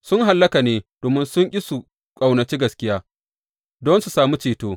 Sun hallaka ne domin sun ƙi su ƙaunaci gaskiya don su sami ceto.